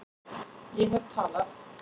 Ég hef talað